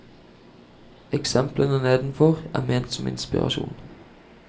Eksemplene nedenfor er ment som inspirasjon.